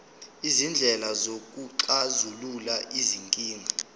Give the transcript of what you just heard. izindlela zokuxazulula izinkinga